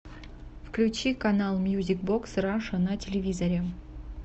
включи канал мьюзик бокс раша на телевизоре